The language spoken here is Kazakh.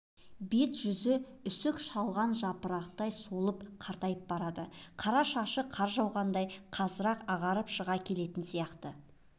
бет-жүзі үсік шалған жапырақтай солып қартайып барады қара шашы қар жауғандай қазір-ақ ағарып шыға келетін сияқты